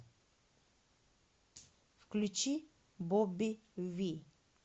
включи бобби ви